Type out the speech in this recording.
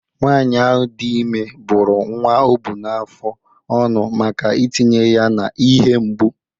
Nwanyị ahụ dị ime bụ́ru nwa o bu n’afọ ọnụ maka itinye ya n’ihe mgbu.